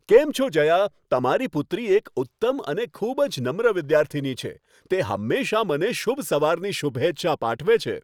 કેમ છો જયા, તમારી પુત્રી એક ઉત્તમ અને ખૂબ જ નમ્ર વિદ્યાર્થીની છે. તે હંમેશાં મને શુભ સવારની શુભેચ્છા પાઠવે છે.